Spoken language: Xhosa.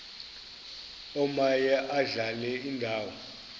omaye adlale indawo